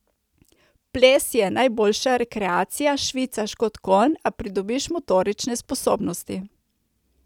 Ples je najboljša rekreacija, švicaš kot konj, a pridobiš motorične sposobnosti.